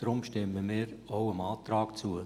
Deshalb stimmen wir auch dem Antrag zu.